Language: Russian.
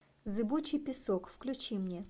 зыбучий песок включи мне